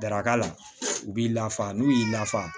Daraka la u b'i lafa n'u y'i lafa